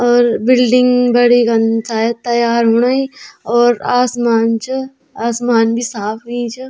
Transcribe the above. और बिल्डिंग बणी कन शायद तैयार होणी और आसमान च आसमान भी साफ हुयी च।